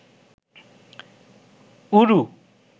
ঊরু